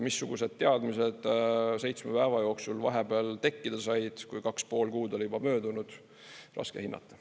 Missugused teadmised seitsme päeva jooksul vahepeal tekkida said, kui 2,5 kuud oli juba möödunud – raske hinnata.